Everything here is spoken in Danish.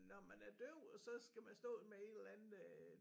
Når man er døv og så skal man stå med et eller andet øh